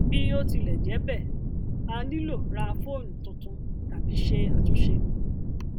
bí ó tilẹ jẹ bẹẹ a nílò rá fóònù tuntun tàbí ṣe àtúnṣe